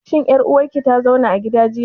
Shin ƴar uwar ki ta zauna a gida jiya?